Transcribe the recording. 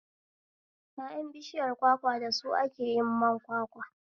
Ƴaƴan bishiyar kwakwa da su ake yin man kwakwa